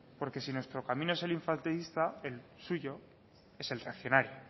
porque si nuestro camino es el infantilista el suyo es el reaccionario